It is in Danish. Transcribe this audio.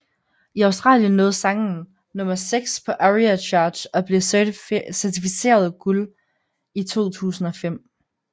I Australien nåede sangen nummer seks på ARIA Charts og blev certificeret guld i 2005